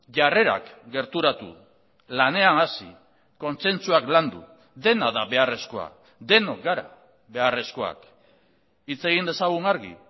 jarrerak gerturatu lanean hasi kontzentzuak landu dena da beharrezkoa denok gara beharrezkoak hitz egin dezagun argi